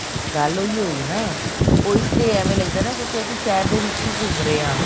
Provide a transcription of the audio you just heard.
ਗੱਲ ਉਹੀ ਹੋਈ ਨਾ ਉਹ ਇਸ ਲਈ ਐਵੇਂ ਲੱਗਦਾ ਨਾ ਕਿਉਂਕਿ ਅਸੀਂ ਸ਼ਹਿਰ ਦੇ ਵਿਚ ਹੀ ਘੁੰਮ ਰਹੇ ਹਾਂ